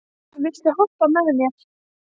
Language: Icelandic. Lísa, viltu hoppa með mér?